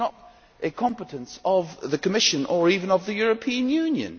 This is not a competence of the Commission or even of the European Union.